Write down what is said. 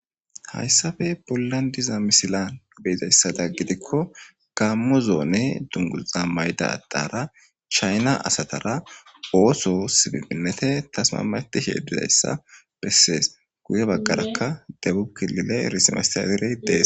hayssafe pollandiza misilan beizayssada gidikko gammuzoone dunguza maydadara chayna asatara ooso sibibinnete tasma matihe didayssa bessees guye baggarakka debukilile rismesteaderey dees